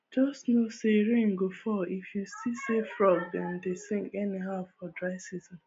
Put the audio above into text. just know say rain go fall if you see say frog dem dey sing anyhow for dry season